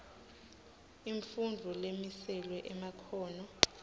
imfundvo lemiselwe emakhono